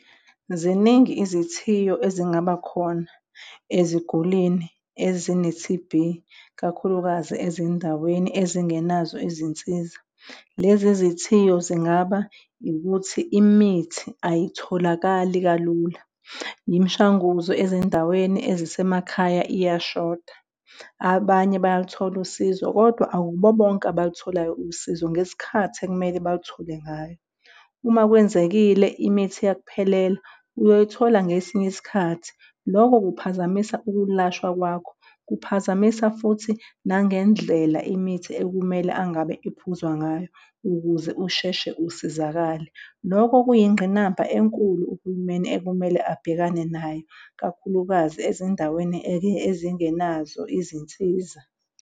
Ziningi izithiyo ezingaba khona ezigulini ezine-T_B, ikakhulukazi ezindaweni ezingenazo izinsiza. Lezi izithiyo zingaba ukuthi imithi ayitholakali kalula. Imishanguzo ezindaweni ezisemakhaya iyashoda. Abanye bayaluthola usizo, kodwa akubo bonke abalutholayo usizo ngesikhathi ekumele baluthole ngayo. Uma kwenzekile imithi yakuphelela, uyoyithola ngesinye isikhathi lokho kuphazamisa ukulashwa kwakho, kuphazamisa futhi nangendlela imithi ekumele angabe iphuzwa ngayo ukuze usheshe usizakale. Loko kuyingqinamba enkulu uhulumeni ekumele abhekane nayo kakhulukazi ezindaweni ezingenazo izinsiza.